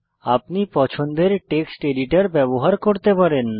আপনি পছন্দের text editor ব্যবহার করতে পারেন